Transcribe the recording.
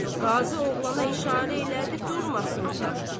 Qazı oğlana işarə elədi durmasın otaqda.